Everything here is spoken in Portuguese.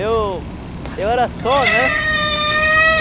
Eu... Eu era só, né?